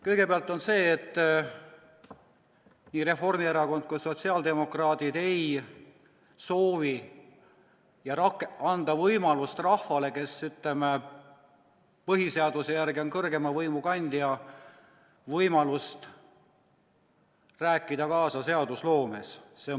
Kõigepealt, ei Reformierakond ega sotsiaaldemokraadid ei soovi anda rahvale, kes on, põhiseaduse järgi kõrgeima võimu kandja, võimalust rääkida kaasa seadusloomes.